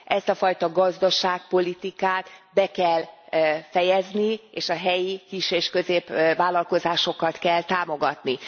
Ezt a fajta gazdaságpolitikát be kell fejezni, és a helyi kis és középvállalkozásokat kell támogatni.